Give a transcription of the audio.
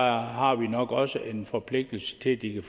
her har vi nok også en forpligtelse til at give